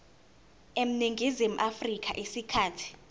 eningizimu afrika isikhathi